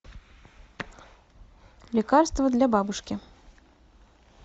лекарство для бабушки